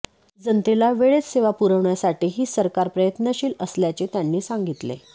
जनतेला वेळेत सेवा पुरवण्यासाठीही सरकार प्रयत्नशील असल्याचे त्यांनी सांगितले